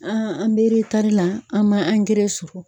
An an be eretari la an ma angɛrɛ sɔrɔ